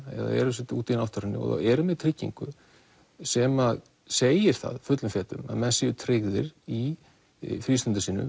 eða eru úti í náttúrunni og eru með tryggingu sem að segir það fullum fetum að menn séu tryggðir í frístundum sínum